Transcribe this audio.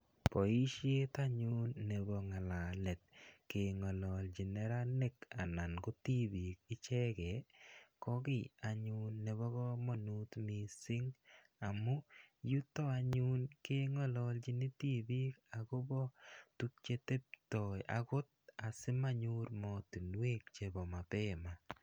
Boishet anyun nebo ngalalet keng'ololchini neranik anan ko tibik ichekei ko kiy anyun nebo komonut mising amun yuto anyun kengololchini tibik akobo tupche teptoi akot asimanyor matunwek chebo mapema.